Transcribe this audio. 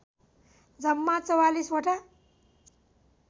जम्मा ४४वटा